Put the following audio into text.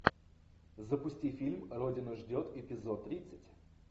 запусти фильм родина ждет эпизод тридцать